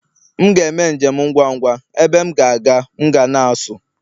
M ga-eme njem ngwa ngwa, ebe m ga-aga m ga na-asụ